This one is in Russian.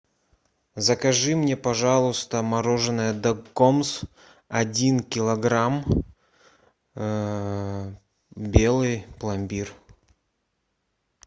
закажи мне пожалуйста мороженое дакгомз один килограмм белый пломбир